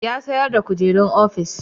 Ya sayar da kujerun ofis